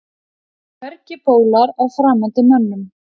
Hvergi bólar á framandi mönnum.